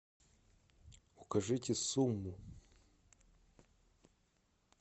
укажите сумму